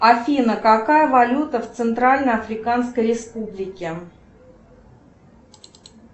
афина какая валюта в центральной африканской республике